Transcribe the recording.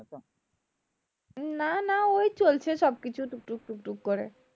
না না ওই চলছে সবকিছু টুক টুক টুক টুক করে